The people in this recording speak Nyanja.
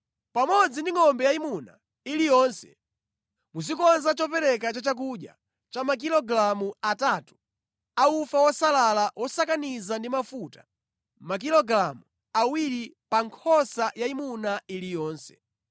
Pamodzi ndi ngʼombe yayimuna iliyonse, muzikonza chopereka cha chakudya cha makilogalamu atatu a ufa wosalala wosakaniza ndi mafuta; makilogalamu awiri pa nkhosa yayimuna iliyonse.